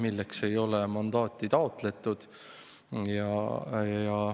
Selleks ei ole mandaati taotletud.